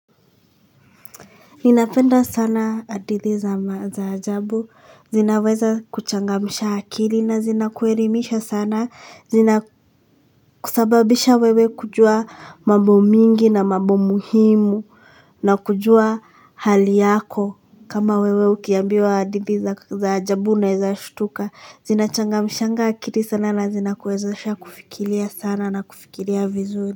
Ninapenda sana hadithi za maajabu, zinaweza kuchangamsha akili na zinakuelimisha sana, zinasababisha wewe kujua mambo mingi na mambo muhimu na kujua hali yako. Kama wewe ukiambiwa hadithi za ajabu unaweza shtuka, zinachangamsha akili sana na zinakuwezesha kufikiria sana na kufikiria vizuri.